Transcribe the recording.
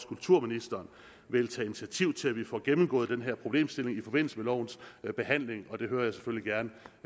kulturministeren vil tage initiativ til at vi får gennemgået den her problemstilling i forbindelse med lovens behandling og det hører jeg selvfølgelig gerne